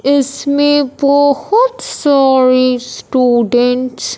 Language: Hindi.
इसमें बहोत सारे स्टूडेंट्स --